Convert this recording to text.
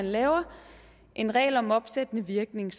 laver en regel om opsættende virkning